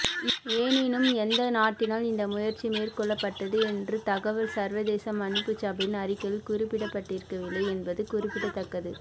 எனினும் எந்த நாட்டினால் இந்தமுயற்சி மேற்கொள்ளப்பட்டது என்ற தகவல் சர்வதேச மன்னிப்புச் சபையின் அறிக்கையில் குறிப்பிட ப்பட்டிருக்கவில்லை என்பது குறிப்பிடத்தக்கது